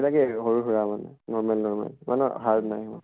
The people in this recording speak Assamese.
সেইবিলাকে আৰু সৰু সুৰা মানে normal normal ইমানো hard নাই হোৱা